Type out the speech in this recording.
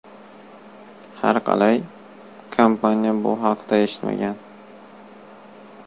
Har qalay, kompaniya bu haqda eshitmagan.